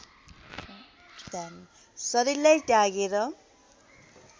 शरीरलाई त्यागेर